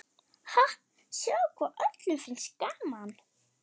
Ha, sjáðu hvað öllum finnst gaman.